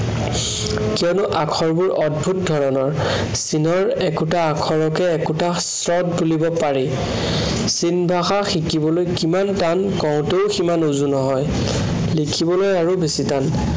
কিয়নো আখৰবোৰ অদ্ভূত ধৰণৰ। চীনৰ একোটা আখৰকে একোটা স্বৰ বুলিব পাৰি। চীন ভাষা শিকিবলৈ কিমান টান কঁওতেও সিমান উজু নহয়। লিখিবলৈ আৰু বেছি টান।